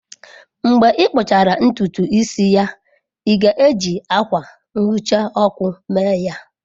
Mgbe ị kpụchara ntutu isi ya, ị ga-eji akwa nhicha ọkụ mee ya?